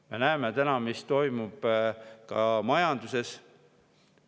Me näeme, mis toimub ka majanduses.